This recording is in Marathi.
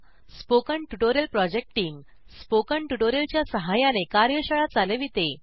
spoken tutorial project team spoken tutorial च्या सहाय्याने कार्यशाळा चालविते